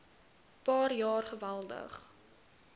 paar jaar geweldig